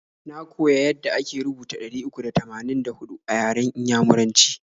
Na koya yada ake rubuta ɗari uku da tamanin da huɗu a yaran inyamuraci.